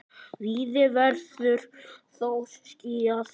Víða verður þó skýjað.